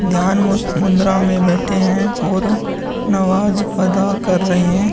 ध्यान मस्त मुद्रा में बैठे हैं और नमाज अदा कर रहें हैं।